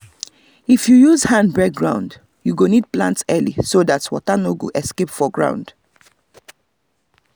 if you use hand break ground you go need plant early so that water no go escape for ground.